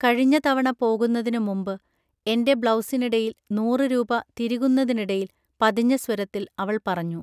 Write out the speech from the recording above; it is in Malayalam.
കഴിഞ്ഞ തവണ പോകുന്നതിനു മുമ്പ് എൻ്റെ ബ്ലൗസിനിടയിൽ നൂറ് രുപാ തിരുകുന്നതിനിടയിൽ പതിഞ്ഞ സ്വരത്തിൽ അവൾ പറഞ്ഞു